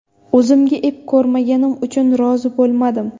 O‘zimga ep ko‘rmaganim uchun rozi bo‘lmadim.